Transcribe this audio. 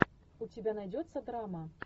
у тебя найдется драма